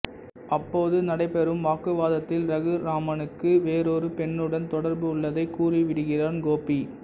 அப்போது நடைபெறும் வாக்குவாதத்தில் ரகுராமனுக்கு வேறொரு பெண்ணுடன் தொடர்பு உள்ளதைக் கூறிவிடுகிறான் கோபி